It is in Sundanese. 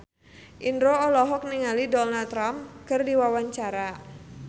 Indro olohok ningali Donald Trump keur diwawancara